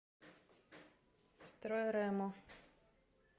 стройремо